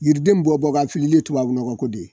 Yiriden bɔ bɔ k'a filili ye tubabu nɔgɔ ko de.